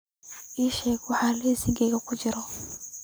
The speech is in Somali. ii sheeg waxa liiskaaga ku jira